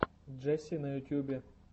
джесси на ютюбе